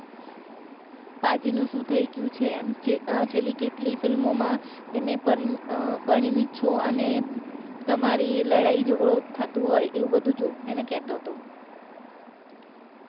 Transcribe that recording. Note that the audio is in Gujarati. પાજી નું શું થય થય છે એમ છે છેલ્લી કેટલી film ઓ માં તે મેં છો અને તમારી ઈ લડાઈ જગડો થતું હોય એવું બધું જો એને કેતો હતો